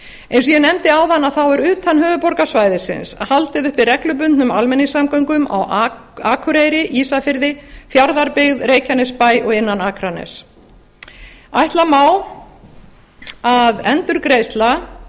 eins og ég nefndi áðan er utan höfuðborgarsvæðisins haldið uppi reglubundnum almenningssamgöngum á akureyri ísafirði fjarðabyggð reykjanesbæ og innan akraness ætla má að endurgreiðsla